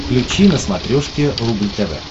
включи на смотрешке рубль тв